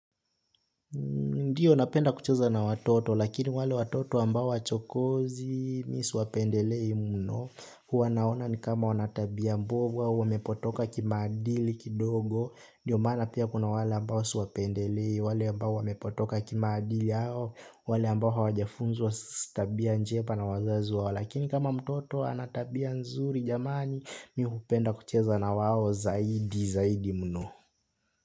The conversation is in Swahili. Ndiyo napenda kucheza na watoto lakini wale watoto ambao chokozi mimi siwapendelei mno huwa naona ni kama wana tabia mbovu au wamepotoka kimaadili kidogo. Ndiyo maana pia kuna wale ambao siwapendelei wale ambao wamepotoka kimaadili hao wale ambao hawajafunzwa tabia njema na wazazi wao. Lakini kama mtoto ana tabia nzuri jamani, mimi hupenda kucheza na wao zaidi zaidi mno.